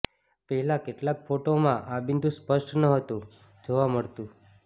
પહેલા કેટલાક ફોટોમાં આ બિંદુ સ્પષ્ટ નહતું જોવા મળતું